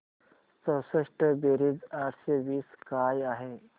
चौसष्ट बेरीज आठशे वीस काय आहे